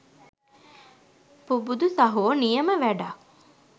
පුබුදු සහෝ නියම වැඩක්.